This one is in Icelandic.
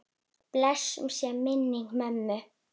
Blessuð sé minning mömmu.